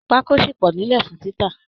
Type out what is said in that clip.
Pákó ṣì pọ̀ nílẹ̀ fún títà